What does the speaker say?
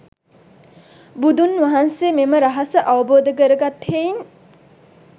බුදුන් වහන්සේ මෙම රහස අවබෝධ කරගත් හෙයින්